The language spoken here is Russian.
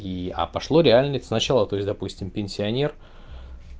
и а пошло реальных сначала то есть допустим пенсионер